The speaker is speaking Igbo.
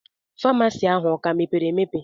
Faamasi ahu o ka mepere emepe?